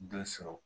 Dɔ sɔrɔ